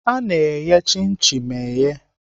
Ana eghe chin chin eghe.